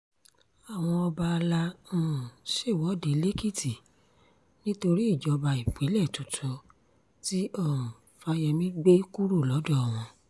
àwọn ọba alay um ṣèwọ̀de lẹ́kìtì nítorí ìjọba ìbílẹ̀ tuntun tí um fáyemí gbé kúrò lọ́dọ̀ wọn